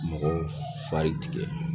Mɔgɔw fari tigɛ